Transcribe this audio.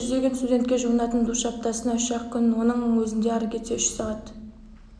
көп жүздеген студентке жуынатын душ аптасына үш ақ күн оның өзінде ары кетсе үш сағат